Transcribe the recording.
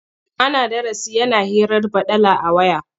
Ana darasi yana hirar baɗala a waya.